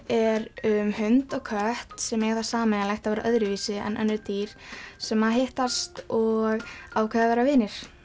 er um hund og kött sem eiga það sameiginlegt að vera öðruvísi en önnur dýr sem hittast og ákveða að vera vinir